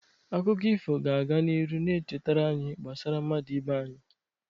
Akụkọ ifo ga-aga n'ihu na-echetara anyị gbasara mmadụ ibe anyị.